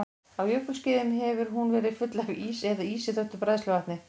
Á jökulskeiðum hefur hún verið full af ís eða ísi þöktu bræðsluvatni.